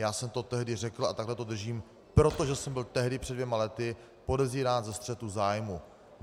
Já jsem to tehdy řekl a takhle to držím, protože jsem byl tehdy před dvěma lety podezírán ze střetu zájmů.